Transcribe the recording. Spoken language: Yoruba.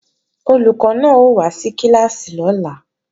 Olùkọ́ náà ó wá sí kíláàsì lọ́la